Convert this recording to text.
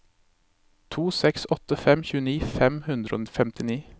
to seks åtte fem tjueni fem hundre og femtini